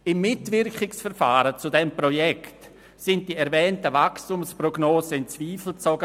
Im Mitwirkungsverfahren zu diesem Projekt wurden die erwähnten Wachstumsprognosen in Zweifel gezogen.